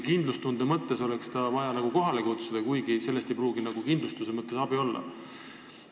Kindlustunde mõttes tahame ta kohale kutsuda, kuigi sellest ei pruugi kindlustusraha saamisel abi olla.